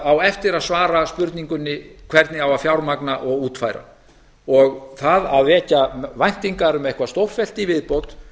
á eftir að svara spurningunni hvernig á að fjármagna og útfæra það að vekja væntingar um eitthvað stórfellt í viðbót